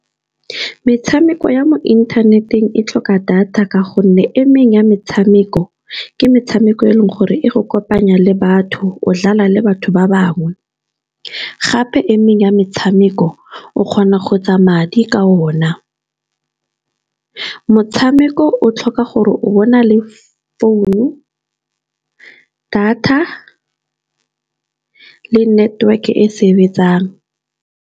Metshameko ya mo inthaneteng e tlhoka data ka gonne emeng ya metshameko, ke metshameko e leng gore e go kopanya le batho. O dlala le batho ba bangwe, gape emeng ya metshameko o kgona go etsa madi ka o na. Motshameko o tlhoka gore o bane le founu data le network e sebetsang.